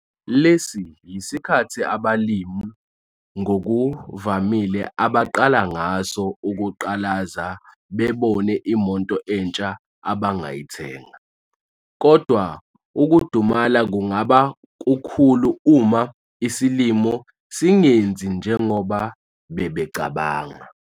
Lesi yisikhathi abalimi ngokuvamile abaqala ngaso ukuqalaza bebone imoto entsha abangayithenga, kodwa ukudumala kungaba kukhulu uma isilimo singenzi njengoba bebecabanga.